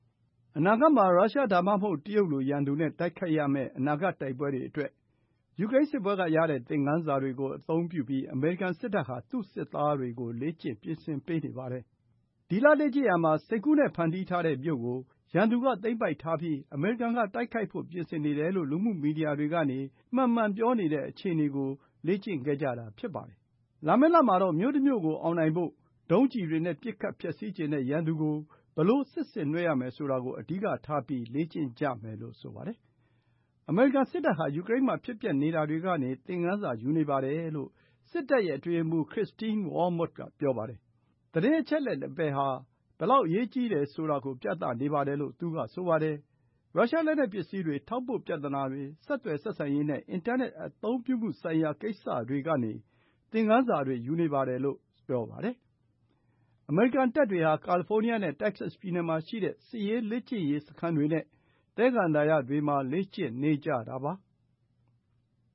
အနာဂတ်မှာ ရုရှား ဒါမှမဟုတ် တရုတ်လို ရန်သူနဲ့တိုက်ရမယ့် အနာဂတ်တိုက်ပွဲတွေအတွက် ယူကရိန်းစစ်ပွဲကရတဲ့ သင်ခန်းစာတွေကို အသုံးပြုပြီး အမေရိကန်စစ်တပ်ဟာ သူ့စစ်သားတွေကို လေ့ကျင့် ပြင်ဆင်ပေးနေပါတယ်။ ဒီလ လေ့ကျင့်ရာမှာ စိတ်ကူးနဲ့ ဖန်တီးထားတဲ့မြို့ကို ရန်သူက သိမ်းပိုက်ထားပြီး အမေရိကန်က တိုက်ခိုက်ဖို့ ပြင်ဆင်နေတယ်လို့ လူမှုမီဒီယာတွေကနေ မှန်မှန်ပြောနေတဲ့ အခြေအနေကို လေ့ကျင့်ခဲ့ကြတာ ဖြစ်ပါတယ်။ လာမယ့်လမှာတော့ မြို့တမြို့ကို အောင်နိုင်ဖို့ ဒုံးကျည်တွေနဲ့ ပစ်ခတ်ဖျက်ဆီးချင်တဲ့ ရန်သူကို ဘယ်လို စစ်ဆင်နွှဲရမယ်ဆိုတာကို အဓိကထားပြီး လေ့ကျင့်ကြမယ်လို့ ဆိုပါတယ်။ အမေရိကန်စစ်တပ်ဟာ ယူကရိန်းမှာ ဖြစ်ပျက်နေတာတွေကနေ သင်ခန်းစာယူနေတယ်လို့ စစ်တပ်ရဲ့ အတွင်းရေးမှူး Christine Wormuth က ပြောပါတယ်။ သတင်းအချက်အလက် နယ်ပယ်ဟာ ဘယ်လောက်အရေးကြီးတယ် ဆိုတာကို ပြနေပါတယ်လို့ သူကဆိုပါတယ်။ ရုရှားလက်နက်ပစ္စည်းတွေ၊ ထောက်ပို့ပြဿနာတွေ၊ ဆက်သွယ်ဆက်ဆံရေးနဲ့ အင်တာနက် အသုံးပြုမှုဆိုင်ရာ ကိစ္စတွေကနေ သင်ခန်းစာတွေ ယူနေတယ်လို့ ဆိုပါတယ်။ အမေရိကန်တပ်တွေဟာ ကာလီဖိုးနီးယားနဲ့ တက္ကဆက်ပြည်နယ်မှာရှိတဲ့ စစ်ရေးလေ့ကျင့်ရေး စခန်းတွေနဲ့ သဲကန္တာရတွေမှာ လေ့ကျင့်နေကြတာပါ။